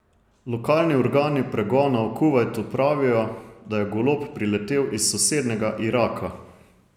Lokalni organi pregona v Kuvajtu pravijo, da je golob priletel iz sosednjega Iraka.